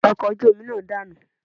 Ọkọ̀ ojú omi náà danu